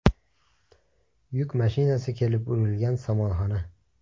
Yuk mashinasi kelib urilgan somonxona.